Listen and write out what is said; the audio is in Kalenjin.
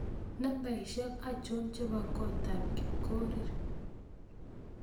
Nambaisyek achon chebo kotab Kipkorir